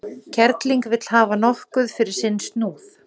Kerling vill hafa nokkuð fyrir sinn snúð.